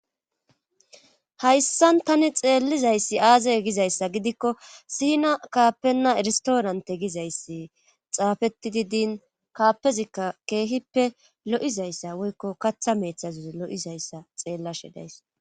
Hayssan tani xeellizayssi aazey gizayssa gidikko siina kaappenna erstoorante gizayssi xaafetidi diin kaappezikka keehippe lo'izayssa woykko katha meethazuzi lo'izayssa xeellashe days.